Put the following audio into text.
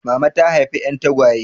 Mama ta haifa 'yan tagwaye.